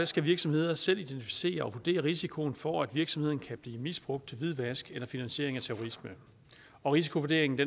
skal virksomheder selv identificere og vurdere risikoen for at virksomheder kan blive misbrugt til hvidvask eller finansiering af terrorisme og risikovurderingen